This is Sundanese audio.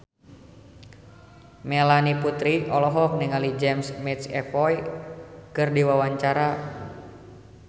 Melanie Putri olohok ningali James McAvoy keur diwawancara